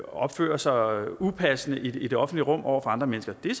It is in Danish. opfører sig upassende i det offentlige rum over for andre mennesker det